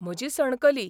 म्हजी सणकली.